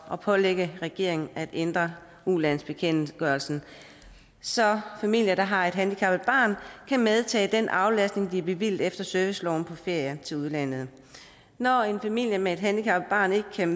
at pålægge regeringen at ændre udlandsbekendtgørelsen så familier der har et handicappet barn kan medtage den aflastning de er bevilget efter serviceloven på ferier til udlandet når en familie med et handicappet barn ikke kan